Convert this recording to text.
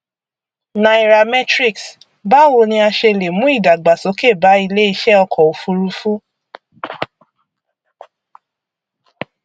nairametrics báwo ni a ṣe lè mú ìdàgbàsókè bá iléeṣẹ ọkọ ofurufú